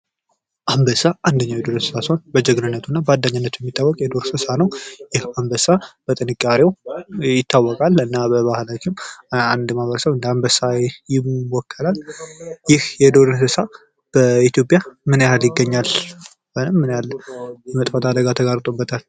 አንበሳ አንደኛ የሆነ የዱር እንሰሳ ሲሆን በጀግንነቱ እና በአንደኝነቱ የታወቀ የዱር እንሰሳ ነው። ይህ አንበሳ በጥንካሬው ይታወቃል። እና በባህላችን አንድ ሰው በአንበስ ይወከላል። ይህ የዱር እንሰሳ በኢትዮጵያ ምን ይህ ይገኛል? ውይም ምን ያህል የመጥፋት አደጋ ተጋርጦበታል?